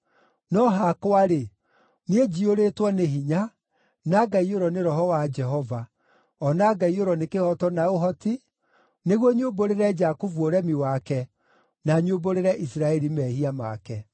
No hakwa-rĩ, niĩ njiyũrĩtwo nĩ hinya, na ngaiyũrwo nĩ Roho wa Jehova, o na ngaiyũrwo nĩ kĩhooto na ũhoti, nĩguo nyumbũrĩre Jakubu ũremi wake, na nyumbũrĩre Isiraeli mehia make.